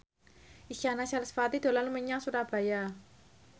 Isyana Sarasvati dolan menyang Surabaya